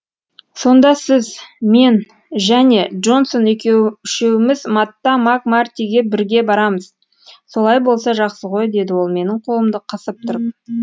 сонда сіз мен және джонсон үшеуіміз матта мак мартиге бірге барамыз солай болса жақсы ғой деді ол менің қолымды қысып тұрып